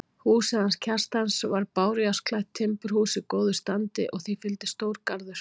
Húsið hans Kjartans var bárujárnsklætt timburhús í góðu standi og því fylgdi stór garður.